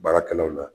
Baarakɛlaw la